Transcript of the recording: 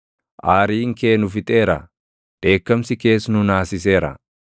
Aariin kee nu fixeera; dheekkamsi kees nu naasiseera.